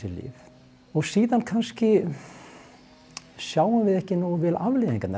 lyf og síðan kannski sjáum við ekki nógu vel afleiðingarnar